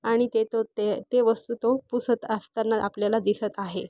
आणि ते तो ते ते वस्तु तो पुसत असताना आपल्याला दिसत आहे.